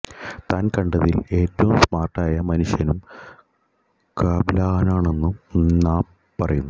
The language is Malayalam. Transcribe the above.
താൻ കണ്ടതിൽ ഏറ്റവും സ്മാർട്ടായ മനുഷ്യനും കാപ് ലാനാണെന്നും നാപ്പ് പറയുന്നു